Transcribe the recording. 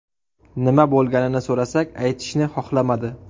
Nima bo‘lganini so‘rasak, aytishni xohlamadi.